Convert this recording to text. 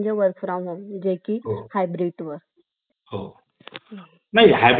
अं लागतात तर दोन अधिवेशनामध्ये अं सहा महिन्या पेक्षा जास्त अंतर असून